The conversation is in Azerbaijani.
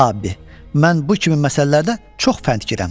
Abbi, mən bu kimi məsələlərdə çox fəndgirəm.